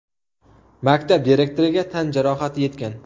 maktab direktoriga tan jarohati yetgan.